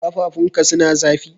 Kafafun ka suna zafi?